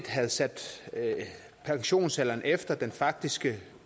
havde sat pensionsalderen efter den faktiske